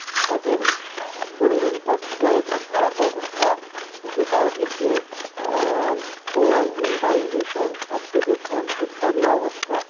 তাদের পরিবেশটা খুবই একটা খারাপ অবস্থা, যে চারিদিকে দিয়ে আহ ব~বায়ু দূষণ, শব্দ দূষণ ইত্যাদি অবস্থা।